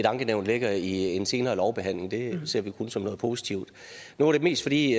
ankenævn ligger i en senere lovbehandling det ser vi kun som noget positivt nu var det mest fordi